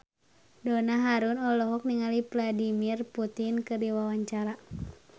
Donna Harun olohok ningali Vladimir Putin keur diwawancara